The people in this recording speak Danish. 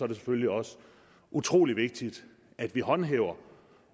det selvfølgelig også utrolig vigtigt at vi håndhæver